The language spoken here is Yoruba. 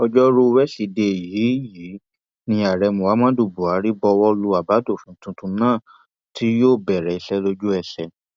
ọjọrùú wẹsídẹẹ yìí yìí ní ààrẹ muhammadu buhari buwọ lu àbádòfin tuntun náà tí yóò bẹrẹ iṣẹ lójú ẹsẹ